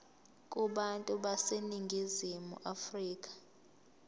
kubantu baseningizimu afrika